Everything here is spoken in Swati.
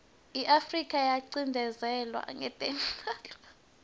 iafrika yacinozetelwa ngekweubala